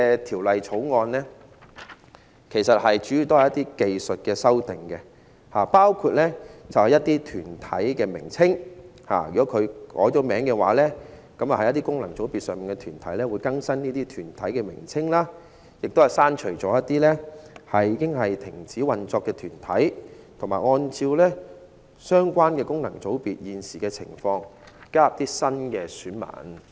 《條例草案》主要是關乎一些技術修訂，包括對功能界別中一些已改名的團體更新其名稱，同時亦刪除了一些已經停止運作的團體，並按照相關功能界別現時的情況，加入新的選民。